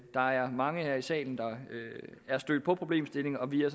der er mange her i salen der er stødt på problemstillingen og vi er